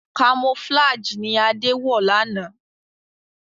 Camouflage ní Ade wọ lànà.